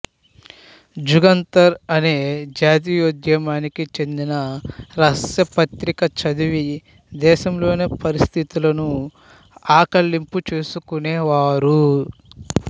జుగాంతర్ అనే జాతీయోద్యామానికి చెందిన రహస్య పత్రిక చదివి దేశంలోని పరిస్థితులను ఆకళింపు చేసుకునేవారు